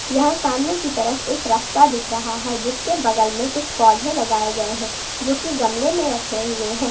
यहां सामने की तरफ एक रास्ता दिख रहा है जिसके बगल में कुछ पौधे लगाए गए हैं जो की गमले में रखे हुए हैं।